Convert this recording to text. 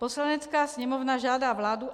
Poslanecká sněmovna žádá vládu,